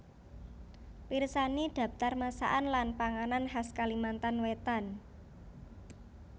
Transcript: Pirsani Dhaptar masakan lan panganan khas Kalimantan Wétan